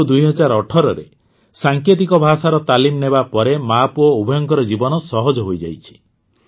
କିନ୍ତୁ ୨୦୧୮ରେ ସାଙ୍କେତିକ ଭାଷାର ତାଲିମ ନେବା ପରେ ମାପୁଅ ଉଭୟଙ୍କ ଜୀବନ ସହଜ ହୋଇଯାଇଛି